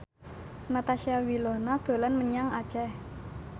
Natasha Wilona dolan menyang Aceh